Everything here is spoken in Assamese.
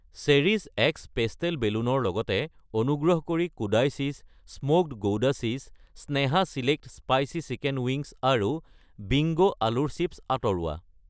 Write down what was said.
চেৰিছ এক্স পেষ্টেল বেলুন ৰ লগতে অনুগ্ৰহ কৰি Kodai cheese smoked gouda cheese , Sneha select জলা চিকেন উইংছ আৰু বিংগো আলুৰ চিপ্ছ আঁতৰোৱা।